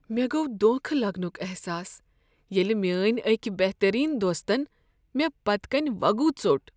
مےٚ گوٚو دھوکہ لگنک احساس ییٚلہ میٲنۍ أکۍ بہترین دوستن مےٚ پٔتۍ کنۍ وگُو ژوٚٹ۔